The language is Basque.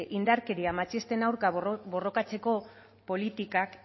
indarkeria matxisten aurka borrokatzeko politikak